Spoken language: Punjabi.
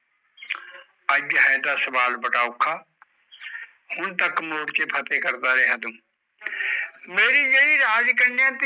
ਅੱਜ ਹ ਤਾਂ ਸਵਾਲ ਅਉਖਾ ਹੁਣ ਤਾਜਕ ਤਾਂ ਤੂੰ ਮੋੜ ਚ ਫਟੇ ਕਰਦਾ ਰਿਹਾ ਤੂੰ ਮੇਰੀ ਜੇਦੀ ਰਾਜ ਕਨ੍ਹਯਾ ਤੀ